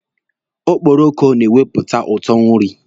Okporoko na-ewepụta ụtọ nri.